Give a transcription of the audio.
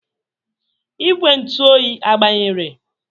Igwe ntụ oyi agbanyere?